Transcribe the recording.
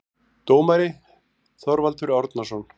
Dómari: Þorvaldur Árnason